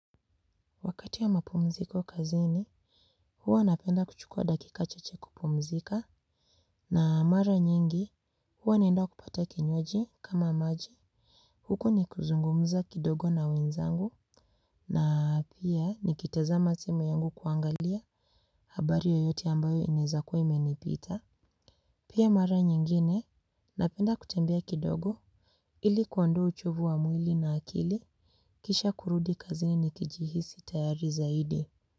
Kati ya mapumziko kazini, huwa napenda kuchukua dakika chache kupumzika na mara nyingi huwa naenda kupata kinywaji kama maji. Huku nikuzungumza kidogo na wenzangu na pia nikitazama simu yangu kuangalia habari yoyote ambayo inaezakuwa imenipita. Pia mara nyingine napenda kutembea kidogo ili kuondoa uchovu wa mwili na akili kisha kurudi kazini nikijihisi tayari zaidi.